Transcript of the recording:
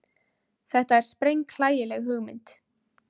Þetta er sprenghlægileg hugmynd.